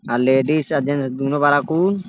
आ लेडीज अ जेन्स दूनु बाड़न कुल।